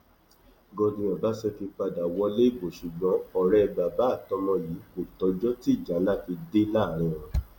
godwin ọbaṣẹkí padà wọlé ìbò ṣùgbọn ọrẹ bàbá àtọmọ yìí kò tọjọ tí ìjà ńlá fi dé láàrín wọn